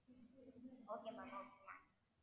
okay ma'am okay ma'am